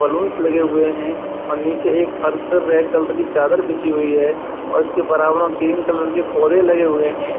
Balloons लगे हुए हैं और नीचे एक फर्श पर रेड कलर की एक चादर बिछी हुई है और इसके बराबर मे ग्रीन कलर के पौधे लगे हुए हैं।